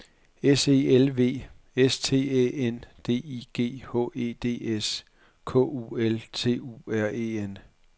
S E L V S T Æ N D I G H E D S K U L T U R E N